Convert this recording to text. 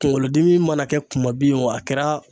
Kunkolodimi mana kɛ kumabin ye o a kɛra